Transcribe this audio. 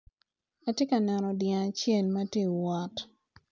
Atye ka neno dyang acel matye wot.